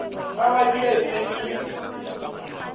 rabadia e be e le